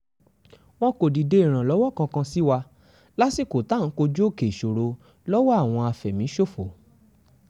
wọn kò dìde ìrànlọ́wọ́ kankan sí wa lásìkò tá à ń kojú òkè ìṣòro lọ́wọ́ àwọn àfẹ̀míṣòfò